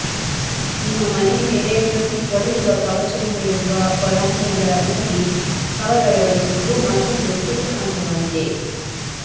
ನಿಮ್ಮ ಮನೆಯ ಮೇಲೆ ಪ್ರತಿ ಕೊಳೆಯುವ ಕವಚದ ಮೇಲಿರುವ ಹೊರಾಂಗಣದ ನಲ್ಲಿ ಕವರ್ ಅಳವಡಿಸುವುದು ಮತ್ತೊಂದು ಸುಲಭ ಹಂತವಾಗಿದೆ